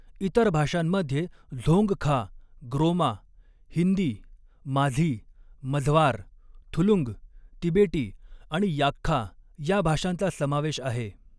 इतर भाषांमध्ये झोंगखा, ग्रोमा, हिंदी, माझी, मझवार, थुलुंग, तिबेटी आणि याक्खा ह्या भाषांचा समावेश आहे.